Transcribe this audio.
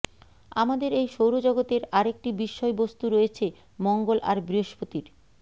আমাদের এই সৌরজগতের আরেকটি বিস্ময় বস্তু রয়েছে মঙ্গল আর বৃহস্পতির